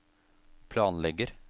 planlegger